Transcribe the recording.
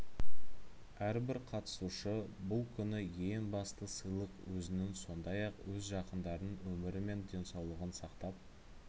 әрбір қатысушы бұл күні ең басты сыйлық өзінің сондай-ақ өз жақындарының өмірі мен денсаулығын сақтап